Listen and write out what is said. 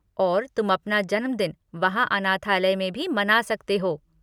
और तुम अपना जन्मदिन वहाँ अनाथालय में भी मना सकते हो।